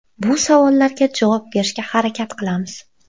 Bu savollarga javob berishga harakat qilamiz.